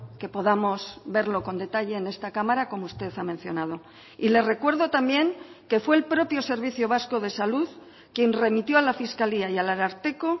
que podamos verlo con detalle en esta cámara como usted ha mencionado y le recuerdo también que fue el propio servicio vasco de salud quien remitió a la fiscalía y al ararteko